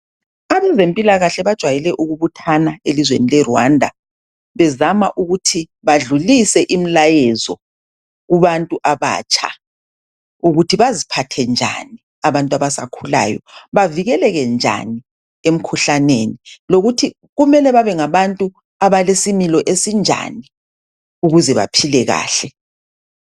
Abezempilakahle bajwayele ukubuthana elizweni leRwanda. Bezama ukuthi, badlulise imilayezo kubantu abatsha. Ukuthi baziphathe njani abantu abasakhulayo. Bavikeleke njani, emkhuhlaneni. Lokuthi kumele babengabantu abalesimilo esinjani ukuze baphile kahle.